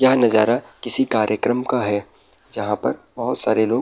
यह नजारा किसी कार्यक्रम का है जहाँ पर बहुत सारे लोग --